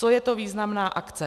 Co je to významná akce?